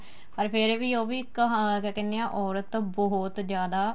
ਪਰ ਫੇਰ ਵੀ ਉਹ ਵੀ ਕਹਾ ਕਿਆ ਕਹਿਨੇ ਏ ਔਰਤ ਤਾਂ ਬਹੁਤ ਜਿਆਦ